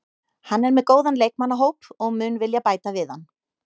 Hann er með góðan leikmannahóp og mun vilja bæta við hann.